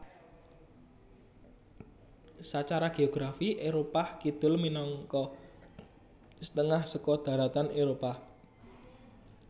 Sacara geografi Éropah Kidul minangka setengah saka dharatan Éropah